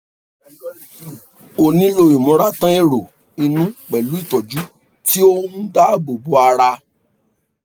o nílò ìmúratán èrò inú pẹ̀lú ìtọ́jú tí ó ń dáàbò bo ara